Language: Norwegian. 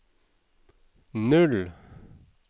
null